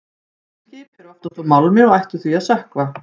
Skip eru oftast úr málmi og ættu því að sökkva.